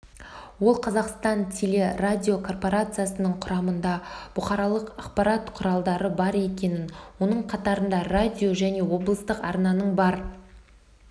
ол қазақстан телерадикорпорациясының құрамында бұқаралық ақпарат құралы бар екенін оның қатарында радио және облыстық арнаның бар